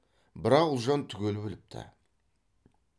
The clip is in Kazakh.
бірақ ұлжан түгел біліпті